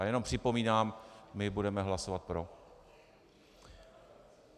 A jenom připomínám, my budeme hlasovat pro.